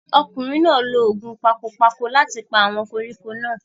ọkùnrin náà lo ògùn pakopako láti pa àwọn koríko náà